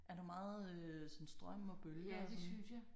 Er der meget sådan strøm og bølger og sådan?